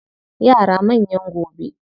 Yara manyan gobe.